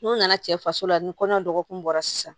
N'u nana cɛ faso la ni kɔɲɔ dɔgɔkun bɔra sisan